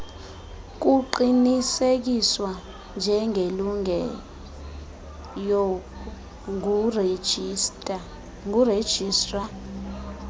kuqinisekiswa njengelungileyo ngurejistra